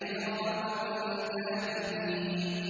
كِرَامًا كَاتِبِينَ